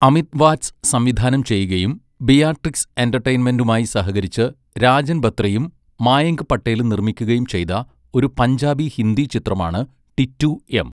അമിത് വാറ്റ്സ് സംവിധാനം ചെയ്യുകയും ബിയാട്രിക്സ് എന്റർടൈൻമെന്റുമായി സഹകരിച്ച് രാജൻ ബത്രയും മായങ്ക് പട്ടേലും നിർമ്മിക്കുകയും ചെയ്ത ഒരു പഞ്ചാബി ഹിന്ദി ചിത്രമാണ് ടിറ്റൂ എം.